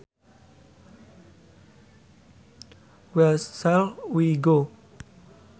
Where shall we go